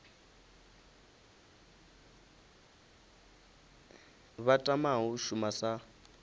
vha tamaho u shuma sa